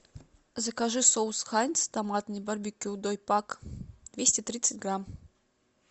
закажи соус хайнц томатный барбекю дой пак двести тридцать грамм